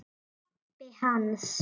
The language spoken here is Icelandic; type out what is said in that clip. Pabbi hans?